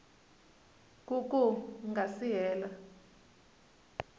ku ku nga si hela